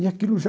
E aquilo já...